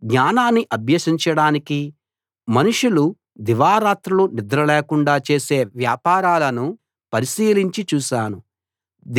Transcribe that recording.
జ్ఞానాన్ని అభ్యసించడానికీ మనుషులు దివారాత్రులు నిద్ర లేకుండా చేసే వ్యాపారాలను పరిశీలించి చూశాను